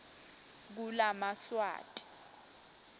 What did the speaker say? kulamswati